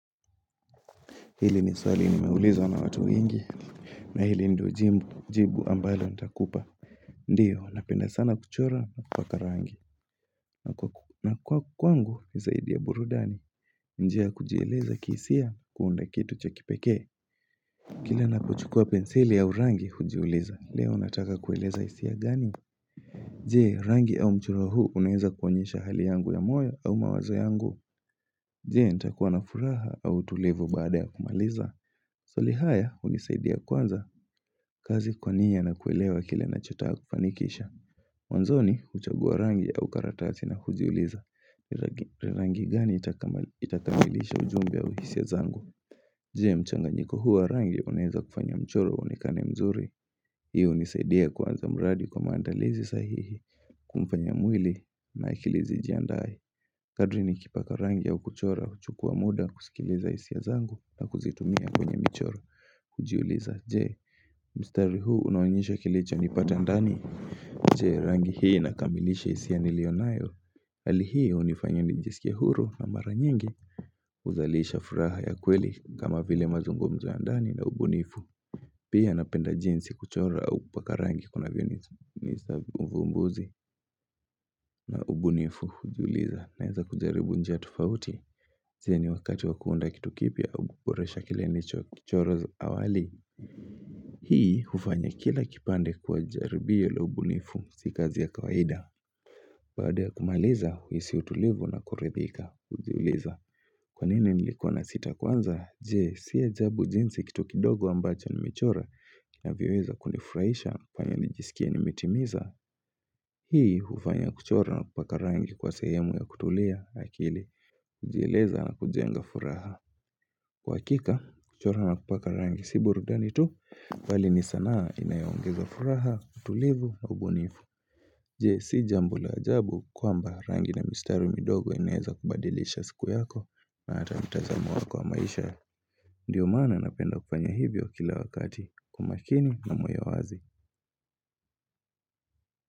Hili ni swali nimeulizwa na watu wengi, na hili ndio jibu ambalo nitakupa Ndio, napenda sana kuchora na kupaka rangi, na kwa kwangu ni zaidi ya burudani, njia kujieleza khisia kuunda kitu cha kipekee. Kila napochukua penseli au rangi hujiuliza, leo nataka kueleza hisia gani? Je, rangi au mchori huu unaeza kuonyesha hali yangu ya moya au mawazo yangu. Je, nitakuwa na furaha au utulivu baada ya kumaliza. Maswali haya hunisaidia kwanza kazi kwa nia na kuelewa kile nachotaka kufanikisha Mwanzoni huchagua rangi au karatasi na hujiuliza Rangi gani itakamilisha ujumbe au hisia zangu Je, mchanganyiko huu wa rangi unaeza kufanya mchoro uonekane mzuri? Hiyo unisaidia kuanza mradi kwa mandalizi sahihi humfanya mwili na ikili zijiandae Kadri ni kipaka rangi au kuchora huchukua muda kusikiliza hisia zangu na kuzitumia kwenye michoro kujiuliza je, mstari huu unaonyesha kilicho nipata ndani Je, rangi hii inakamilisha hisia nilio nayo hqli hio hunifanya nijiskie huru na mara nyingi huzalisha furaha ya kweli kama vile mazungumzo ndani na ubunifu Pia napenda jinsi kuchora au kupaka rangi kuna vionisababisha uvumbuzi na ubunifu kujuliza Naeza kujaribu njia tufauti je, ni wakati wa kuunda kitu kipya au kuboresha kile nilicho kuchora awali Hii hufanya kila kipande kwa jaribio la ubunifu si kazi ya kawaida. Baada ya kumaliza huhisi utulivu na kuridhika. Hujiuliza kwanini nilikua nasita kwanza? Je, si ajabu jinsi kitu kidogo ambacho nimechora kinavyoeza kunifuraisha kufanya nijisikie nimetimiza. Hii hufanya kuchora na kupaka rangi kua sehemu ya kutulia akili. Kujieleza na kujenga furaha. Kwa hakika, kuchora na kupaka rangi si burudani tu. Mbali ni sanaa inayo ongeza furaha, utulivu na ubunifu Je, si jambo la ajabu kwamba rangi na mistari midogo inaeza kubadilisha siku yako na hata mtazamo wako wa maisha Ndio mana napenda kufanya hivyo kila wakati kwa umakini na moyo wazi.